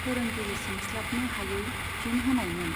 फोरोंगिरि सोंस्लाबनो हायै फिन होनायमोन।